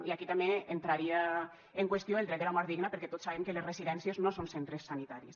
i aquí també entraria en qüestió el dret de la mort digna perquè tots sabem que les residències no són centres sanitaris